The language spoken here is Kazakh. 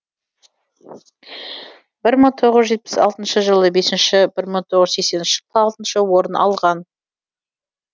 бір мың тоғыз жүз жетпіс алтыншы жылы бесінші бір мың тоғыз жүз сексенінші жылы алтыншы орын алған